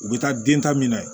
U bɛ taa den ta min na